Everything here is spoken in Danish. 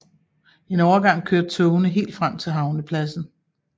En overgang kørte togene helt frem til havnepladsen